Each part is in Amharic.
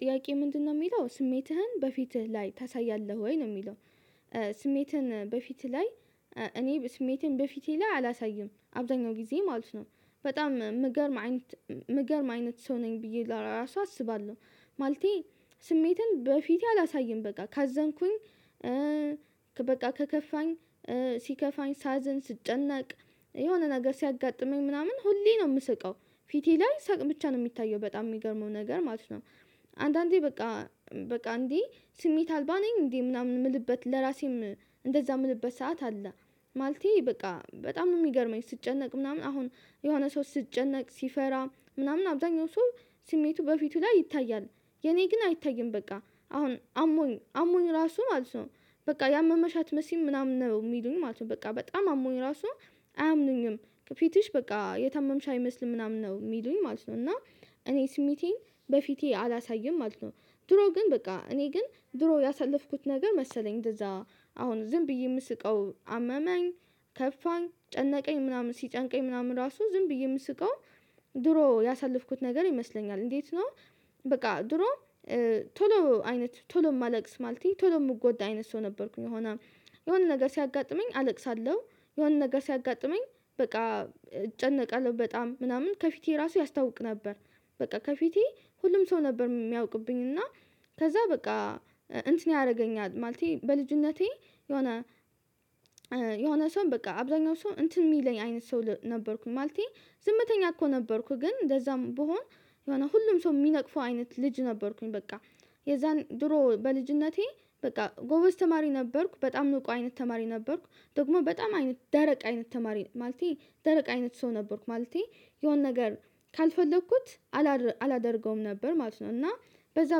ጥያቄ ምንድነው የሚለው ስሜትህን በፊትህ ላይ ታሳያለህ ወይ ነው የሚለው? ስሜትህን በፊት ላይ እኔ ስሜትን በፊቴ ላይ አላሳይም አብዛኛው ጊዜ ማለት ነው። በጣም የምገርም አይነት ምገርም አይነት ሰው ነኝ ብዬ ለራሱ አስባለሁ። ማለቴ ስሜትን በፊቴ አላሳይም በቃ ካዘንኩኝ በቃ ከከፋኝ ሲከፋኝ ሳዝን ስጨነቅ የሆነ ነገር ሲያጋጥመኝ ምናምን ሁሌ ነው የምስቀው ፊቴ ላይ ሳቅ ብቻ ነው የሚታየው በጣም የሚገርመው ነገር ማለት ነው። አንዳንዴ በቃ በቃ እንዴ ስሜት አልባ ነኝ እንዴ ምናምን የምልበት ለራሴም እንደዛ የምልበት ሰዓት አለ። ማለቴ በቃ በጣም ነው የሚገርመኝ ስጨነቅ ምናምን አሁን የሆነ ሰው ስጨነቅ ሲፈራ ምናምን አብዛኛው ሰው ስሜቱ በፊቱ ላይ ይታያል። የኔ ግን አይታይም በቃ አሁን አሞኝ አሞኝ ራሱ ማለት ነው። በቃ ያመመሻ አትመስይም ምናምን ነው የሚሉኝ ማለት ነው በቃ በጣም አሞኝ ራሱ። አያምኑኝም ከፊትሽ በቃ የታመምሽ አይመስልም ምናምን ነው የሚሉኝ ማለት ነው። እና እኔ ስሜቴን በፊቴ አላሳይም ማለት ነው። ድሮ ግን በቃ እኔ ግን ድሮ ያሳለፍኩት ነገር መሰለኝ እንደዛ አሁን ዝም ብዬ የምስቀው አመመኝ። ከፋኝ ጨነቀኝ ምናምን ሲጨንቀኝ ምናምን ራሱ ዝም ብዬ የምስቀው። ድሮ ያሳለፍኩት ነገር ይመስለኛል እንዴት ነው? በቃ ድሮ ቶሎ አይነት ቶሎ ማለቅስ ማለት ቶሎ ሚጎዳ አይነት ሰው ነበርኩኝ። የሆነ ነገር ሲያጋጥመኝ አለቅሳለሁ የሆነ ነገር ሲያጋጥመኝ በቃ እጨነቃለሁ በጣም ምናምን ከፊቴ ራሱ ያስታውቅ ነበር። በቃ ከፊቴ ሁሉም ሰው ነበር የሚያውቅብኝ። እና ከዛ በቃ እንትን ያደርገኛል ማለቴ በልጅነቴ የሆነ የሆነ ሰው በቃ አብዛኛው ሰው እንትን የሚለኝ አይነት ሰው ነበርኩኝ። ማለቴ ዝምተኛ እኮ ነበርኩኝ ግን እንደዛም ብሆን የሆነ ሁሉም ሰው የሚነቅፈው አይነት ልጅ ነበርኩኝ። በቃ የዛን ድሮ በልጅነቴ በቃ ጎበዝ ተማሪ ነበርኩ በጣም ንቁ አይነት ተማሪ ነበርኩ። ደግሞ በጣም አይነት ደረቅ አይነት ተማሪ ማለቴ ደረቅ አይነት ሰው ነበርኩ። ማለቴ የሆነ ነገር ካልፈለኩት አላደርገውም ነበር ማለት ነው። እና በዛ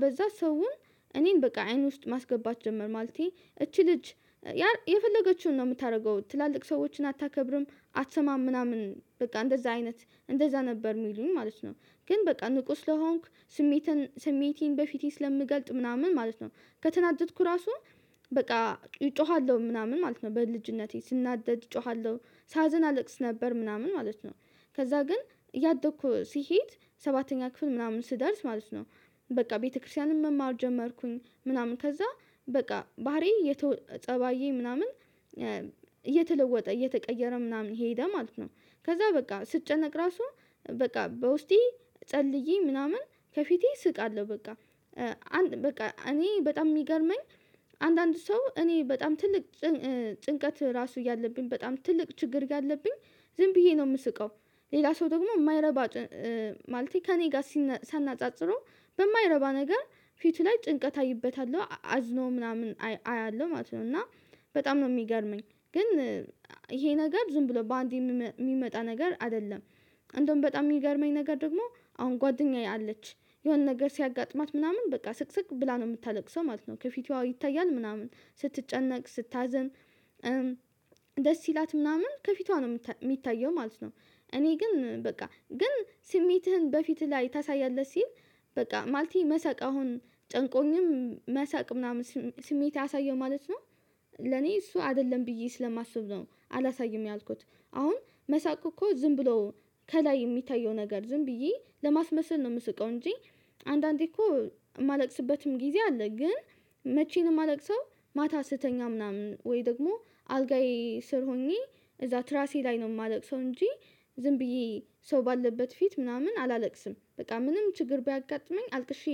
በዛ ሰውን እኔን በቃ አይን ውስጥ ማስገባት ጀመር ማለቴ እቺ ልጅ የፈለገችውን ነው የምታደርገው ትላልቅ ሰዎችን አታከብርም አትሰማም ምናምን በቃ እንደዛ አይነት እንደዛ ነበር የሚሉን ማለት ነው። ግን በቃ ንቁ ስለሆንኩ ስሜቴን ስሜቴን በፊቴ ስለምገልጥ ምናምን ማለት ነው። ከተናደድኩ ራሱ በቃ እጮሃለሁ ምናምን ማለት ነው በልጅነቴ ስናደድ እጮሃለሁ ሳዘን አለቅስ ነበር ምናምን ማለት ነው። ከዛ ግን እያደኩ ሲሄድ ሰባተኛ ክፍል ምናምን ስደርስ ማለት ነው። በቃ ቤተክርስቲያንም መማር ጀመርኩኝ ምናምን ከዛ በቃ ባህሪ የተወ ፀባዬ ምናምን እየተለወጠ እየተቀየረ ምናምን ሄደ ማለት ነው። ከዛ በቃ ስትጨነቅ ራሱ በቃ በውስጤ ጸልዬ ምናምን ከፊቴ ስቃለሁ በቃ። በቃ እኔ በጣም የሚገርመኝ አንዳንድ ሰው እኔ በጣም ትልቅ ጭንቀት ራሱ እያለብኝ በጣም ትልቅ ችግር እያለብኝ ዝም ብዬ ነው የምስቀው። ሌላ ሰው ደግሞ የማይረባ ማለት ከእኔ ጋር ሳናጻጽረው በማይረባ ነገር ፊቱ ላይ ጭንቀት አይበታለሁ አዝኖ ምናምን አያለሁ ማለት ነው። እና በጣም ነው የሚገርመኝ። ግን ይሄ ነገር ዝም ብሎ በአንዴ የሚመጣ ነገር አይደለም። እንደውም በጣም የሚገርመኝ ነገር ደግሞ አሁን ጓደኛዬ አለች። የሆነ ነገር ሲያጋጥማት ምናምን በቃ ስቅስቅ ብላ ነው የምታለቅሰው ማለት ነው ከፊቷ ይታያል ምናምን ስትጨነቅ ስታዘን ደስ ይላት ምናምን ከፊቷ ነው የሚታየው ማለት ነው። እኔ ግን በቃ ግን ስሜትህን በፊትህ ላይ ታሳያለህ ሲል። በቃ ማለቴ መሳቅ አሁን ጨንቆኝም መሳቅ ምናምን ስሜት አሳየው ማለት ነው። ለኔ እሱ አይደለም ብዬ ስለማስብ ነው አላሳይም ያልኩት። አሁን መሳቅ እኮ ዝም ብሎ ከላይ የሚታየው ነገር ዝም ብዬ ለማስመሰል ነው የምስቀው እንጂ። አንዳንዴ እኮ የማለቅስበትም ጊዜ አለ ግን ነው የማለቅሰው። ማታ ስትተኛ ምናምን ወይ ደግሞ አልጋዬ ስር ሆኜ እዛ ትራሴ ላይ ነው የማለቅሰው እንጂ። ዝም ብዬ ሰው ባለበት ፊት ምናምን አላለቅስም በጣም ምንም ችግር ቢያጋጥመኝ አልቅሼ።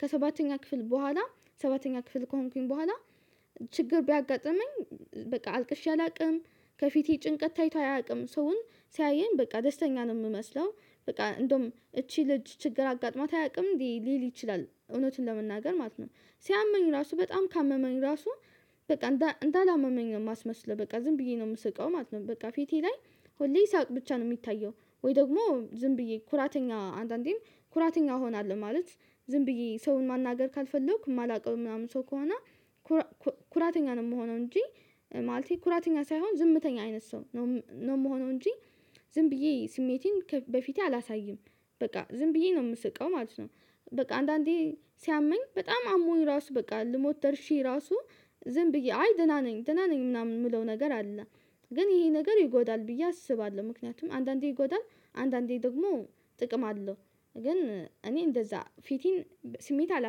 ከሰባተኛ ክፍል በኋላ ሰባተኛ ክፍል ከሆንኩኝ በኋላ። ችግር ቢያጋጥመኝ በቃ አልቅሼ አላውቅም። ከፊቴ ጭንቀት ታይቶ አያውቅም ሰውን ሲያየኝ በቃ ደስተኛ ነው የምመስለው። በቃ እንደውም እቺ ልጅ ችግር አጋጥማት አያውቅም ሊል ይችላል እውነትን ለመናገር ማለት ነው። ሲያመኝ ራሱ በጣም ካመመኝ ራሱ በቃ እንዳላመመኝ ነው የማስመስለው በቃ ዝም ብዬ ነው የምስቀው ማለት ነው። በቃ ፊቴ ላይ ሁሌ ሳቅ ብቻ ነው የሚታየው። ወይ ደግሞ ዝም ብዬ ኩራተኛ አንዳንዴም ኩራተኛ እሆናለሁ። ማለት ዝም ብዬ ሰውን ማናገር ካልፈለኩ የማላውቀው ምናምን ሰው ከሆነ ኩራተኛ ነው የምሆነው። እንጂ ማለቴ ኩራተኛ ሳይሆን ዝምተኛ አይነት ሰው ነው የምሆነው እንጂ። ዝም ብዬ ስሜቴን በፊቴ አላሳይም። በቃ ዝም ብዬ ነው የምስቀው ማለት ነው። በቃ አንዳንዴ ሲያመኝ በጣም አሞኝ ራሱ በቃ ልሞት ደርሼ ራሱ ዝም ብዬ አይ ደህና ነኝ ደህና ነኝ ምናምን የምለው ነገር አለ። ግን ይሄ ነገር ይጎዳል ብዬ አስባለሁ ምክንያቱም አንዳንዴ ይጎዳል አንዳንዴ ደግሞ ጥቅም አለው። ግን እኔ እንደዛ ፊቴን ስሜት አላስብም